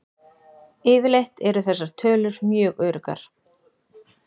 Yfirleitt eru þessar tölur mjög öruggar.